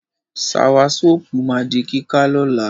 Sawasọ́pù ma di kíká lọ́la.